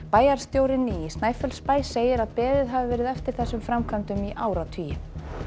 bæjarstjórinn í Snæfellsbæ segir að beðið hafi verið eftir þessum framkvæmdum í áratugi